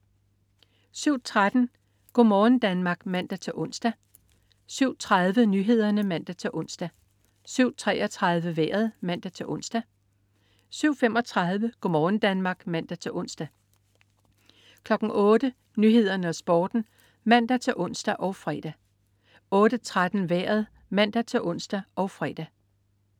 07.13 Go' morgen Danmark (man-ons) 07.30 Nyhederne (man-ons) 07.33 Vejret (man-ons) 07.35 Go' morgen Danmark (man-ons) 08.00 Nyhederne og Sporten (man-ons og fre) 08.13 Vejret (man-ons og fre)